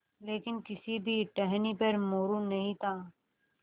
लेकिन किसी भी टहनी पर मोरू नहीं था